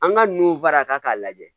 An ka nun fara kan k'a lajɛ